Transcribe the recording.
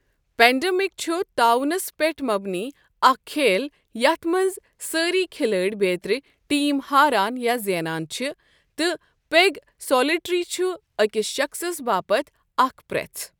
Pandemic چھُ تعاونَس پٮ۪ٹھ مبنی اکھ کھیل یتھ منز سٲری كھِلٲڈۍ بیترِ ٹیم ہاران یا زینان چھِ ، تہٕ پیگ سولیٹٮ۪ری چھُ أکِس شخٕصَس باپتھ اکھ پرٛیٮ۪ژ ۔